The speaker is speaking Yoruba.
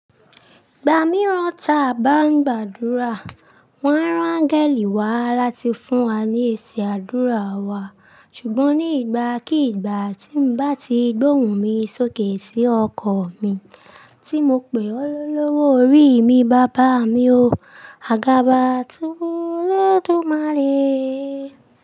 Ìgbà mìíràn ta a bá ń gbàdúrà, wọ́n rán angẹli wá láti fún wa ní èsì àdúrà wa. Ṣùgbọ́n ní ìgbàkígbà tí mo bá ti gbóhùn mi sókè sí ọkọ̀ mi, tí mo pè ọ́ lọ́wọ́ orí mi, bàbá mi o, àgàbà tun olódùmarè.